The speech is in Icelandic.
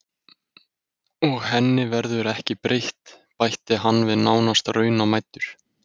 Og henni verður ekki breytt, bætti hann við nánast raunamæddur.